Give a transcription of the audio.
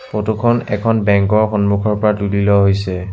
Photo খন এখন bank ৰ সন্মুখৰ পৰা তুলি লোৱা হৈছে।